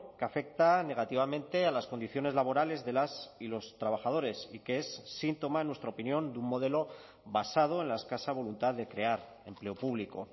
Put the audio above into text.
que afecta negativamente a las condiciones laborales de las y los trabajadores y que es síntoma en nuestra opinión de un modelo basado en la escasa voluntad de crear empleo público